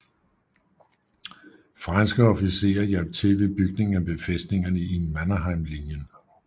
Franske officerer hjalp til ved bygningen af befæstningerne i Mannerheimlinjen